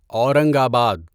اورنگ آباد